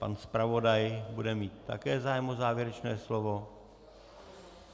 Pan zpravodaj bude mít také zájem o závěrečné slovo?